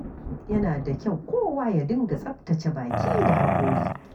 Yana da kyau kowa ya dinga tsaftace baki da haƙora.